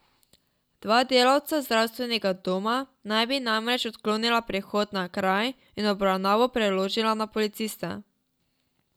Dva delavca zdravstvenega doma naj bi namreč odklonila prihod na kraj in obravnavo preložila na policiste.